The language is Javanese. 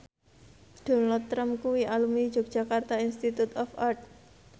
Donald Trump kuwi alumni Yogyakarta Institute of Art